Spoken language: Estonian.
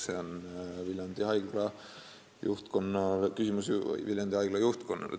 See on küsimus Viljandi Haigla juhtkonnale.